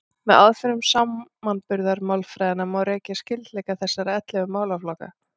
Með aðferðum samanburðarmálfræðinnar má rekja skyldleika þessara ellefu málaflokka.